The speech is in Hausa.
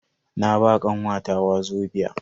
Na ba kanwata wazobia.